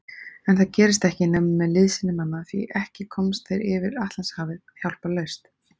En það gerist ekki nema með liðsinni manna, því ekki komast þeir yfir Atlantshafið hjálparlaust.